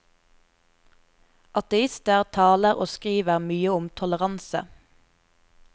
Ateister taler og skriver mye om toleranse.